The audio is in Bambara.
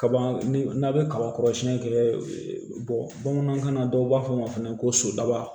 Kaba ni n'a bɛ kaba kɔrɔsiyɛnni kɛ bamanankan na dɔw b'a fɔ a ma fana ko so daba